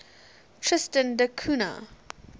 tristan da cunha